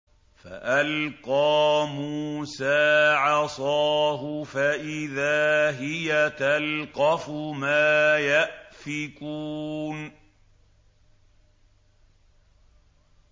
فَأَلْقَىٰ مُوسَىٰ عَصَاهُ فَإِذَا هِيَ تَلْقَفُ مَا يَأْفِكُونَ